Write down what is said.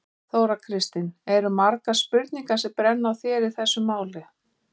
Þóra Kristín: Eru margar spurningar sem brenna á þér í þessu máli?